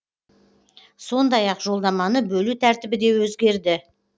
сондай ақ жолдаманы бөлу тәртібі де өзгерді